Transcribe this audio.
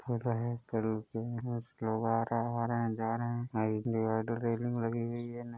लोग आ रहा हैं जा रहे हैं। रेलिंग लगी हुई है। ना --